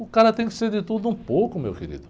O cara tem que ser de tudo um pouco, meu querido.